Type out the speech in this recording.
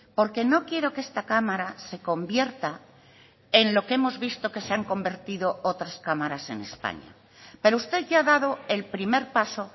porque no quiero que esta cámara se convierta en lo que hemos visto que se han convertido otras cámaras en españa pero usted ya ha dado el primer paso